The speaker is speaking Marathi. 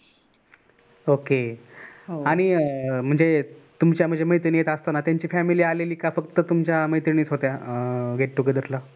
okay आणि म्हणजे तुमच्या मैत्रिणी येत असताना त्यांची family आलेली का कि तुमच्या मैत्रिणीच होत्या अं get together ला